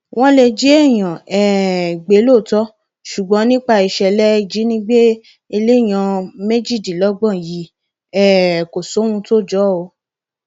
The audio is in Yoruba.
wọn lè jí èèyàn um gbé lóòótọ ṣùgbọn nípa ìṣẹlẹ ìjínigbé elèèyàn méjìdínlọgbọn yìí um kò sí ohun tó jọ ọ